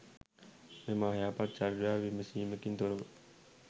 මෙම අයහපත් චර්යාව විමසීමකින් තොරව